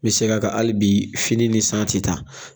N bi segin a kan hali bi fini ni san ti taa.